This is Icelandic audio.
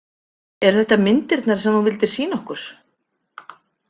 Eru þetta myndirnar sem þú vildir sýna okkur?